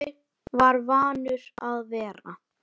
Jói var vanur að vera.